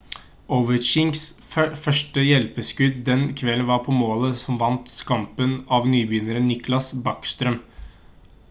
ovechkins første hjelpeskudd den kvelden var på målet som vant kampen av nybegynner nicklas backstrøm